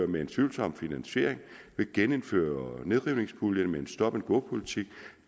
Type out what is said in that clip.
med en tvivlsom finansiering at genindføre nedrivningspuljen med en stop and go politik